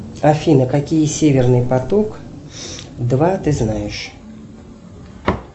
афина какие северный поток два ты знаешь